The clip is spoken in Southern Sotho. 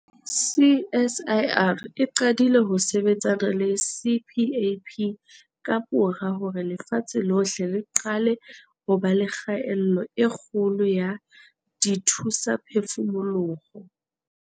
CSIR e qadile ho sebetsana le CPAP kamora hore lefatshe lohle le qale ho ba le kgaello e kgolo ya dithusaphefumoloho.